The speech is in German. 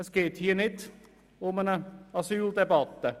Hier geht es nicht um eine Asyldebatte.